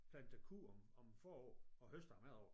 Planter korn om forår og høster om efterår